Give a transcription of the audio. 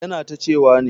Yana tacewa ne.